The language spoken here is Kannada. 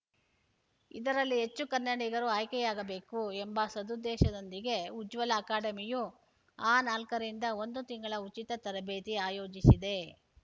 ಇದರಲ್ಲಿ ಹೆಚ್ಚು ಕನ್ನಡಿಗರು ಆಯ್ಕೆಯಾಗಬೇಕು ಎಂಬ ಸದುದ್ದೇಶದೊಂದಿಗೆ ಉಜ್ವಲ ಅಕಾಡೆಮಿಯು ಅ ನಾಲ್ಕ ರಿಂದ ಒಂದು ತಿಂಗಳ ಉಚಿತ ತರಬೇತಿ ಆಯೋಜಿಸಿದೆ